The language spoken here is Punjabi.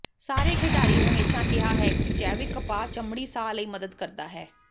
ਸਾਰੇ ਖਿਡਾਰੀ ਹਮੇਸ਼ਾ ਕਿਹਾ ਹੈ ਕਿ ਜੈਵਿਕ ਕਪਾਹ ਚਮੜੀ ਸਾਹ ਲਈ ਮਦਦ ਕਰਦਾ ਹੈ